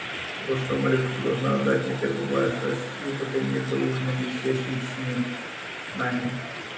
вот что малютка ты должна отдать мне первый вальс а стю последний и за ужином сесть с ним с нами